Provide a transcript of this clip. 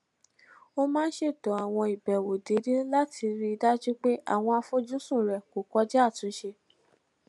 ó máa ń ṣètò àwọn ìbèwò déédéé láti rí i dájú pé àwọn àfojúsùn rẹ̀ kò kọjá àtúnṣe